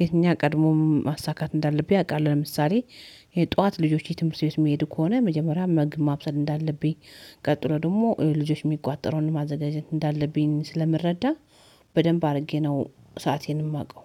የትኛው ቀድሞም ማሳካት እንዳለብኝ አውቃለሁ። ለምሳሌ የጧት ልጆች የትምህርት ቤት የሚሄዱ ከሆነ መጀመሪያ መግብ ማብሰል እንዳለብኝ ቀጥሎ ደግሞ ልጆች የሚቋጠረዉን ማዘጋጀት እንዳለብኝ ስለምረዳ በደንብ አድርጌ ነው። ሰአቴን የማውቀው።